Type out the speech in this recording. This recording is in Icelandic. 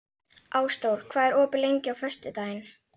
Ásdór, hvað er opið lengi á föstudaginn?